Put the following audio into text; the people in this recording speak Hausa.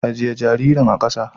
Ajye jaririn a kasa!